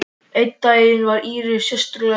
Einn daginn var Íris sérlega treg.